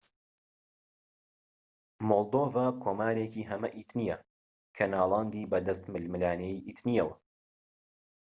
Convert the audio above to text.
مۆلدۆڤا کۆمارێکی هەمە ئیتنیە کە ناڵاندی بەدەست ململانێی ئیتنیەوە